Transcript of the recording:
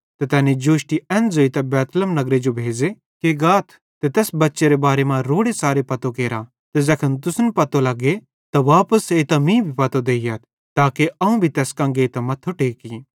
ते तैनी जोष्टी एन ज़ोइतां बैतलहम नगरे जो भेज़े कि गाथ ते तैस बच्चेरे बारे मां रोड़ेच़ारे पतो केरा ते ज़ैखन तुसन पतो लग्गे त वापस एइतां मीं भी पतो देइयथ ताके अवं भी तैस कां गेइतां मथ्थो टेकी